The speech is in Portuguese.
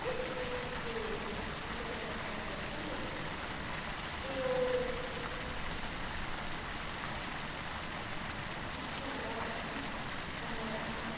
Nesse tempo que a gente ia para casa tudo, eu... não tinha namorado, namorava,